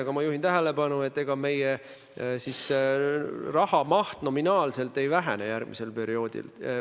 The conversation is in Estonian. Aga ma juhin tähelepanu, et ega meie raha maht nominaalselt ei vähene järgmisel perioodil.